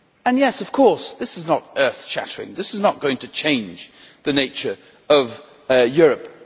Yes, of course this is not earth-shattering this is not going to change the nature of Europe.